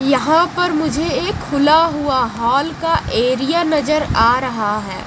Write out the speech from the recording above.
यहां पर मुझे एक खुला हुआ हॉल का एरिया नजर आ रहा है।